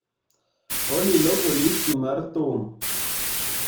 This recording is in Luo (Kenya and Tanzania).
Olly loko listi mar thum